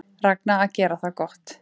Ragna að gera það gott